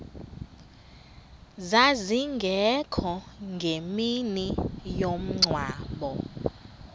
zazingekho ngemini yomngcwabo